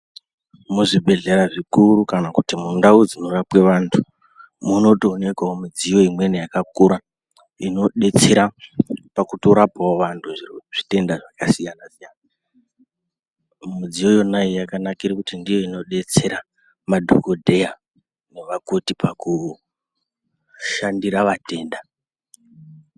Muzvibhehlera zvikuru kana kuti mundau dzinorapwe vantu munotoonekawo midziyo imweni yakakura inodetsera pakutorapawo vantu pazvitenda zvakasiyanasiyana midziyo yona iyi yakanakira kuti ndiyo inodetsera madhokodheya nevakoti pakushandira atenda.